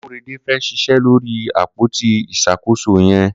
Korede fẹ́ ṣiṣẹ lóri ápótí iṣàkósó yẹn